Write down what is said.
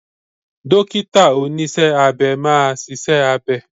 Dọ́kítà oníṣẹ́ abẹ máa ṣiṣẹ́ abẹ.